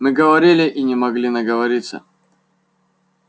мы говорили и не могли наговориться